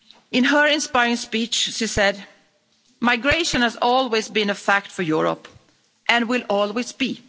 In her inspiring speech, she said Migration has always been a fact for Europe, and will always be.